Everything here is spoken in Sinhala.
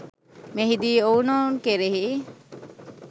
මෙහිදී ඔවුනොවුන් කෙරෙහි